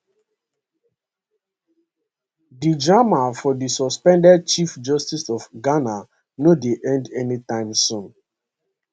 di drama for di suspended chief justice of ghana no dey end anytime soon